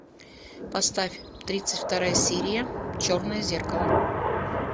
поставь тридцать вторая серия черное зеркало